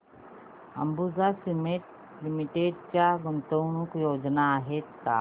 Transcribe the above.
Ambuja cement limited च्या गुंतवणूक योजना आहेत का